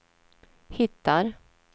hittar